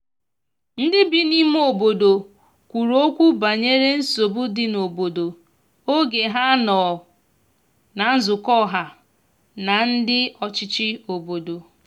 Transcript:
ndi bi ime obodo kwuru okwu banyere nsogbu di n'obodo oge ha nọ na nzukọha na ndi ọchichi obodo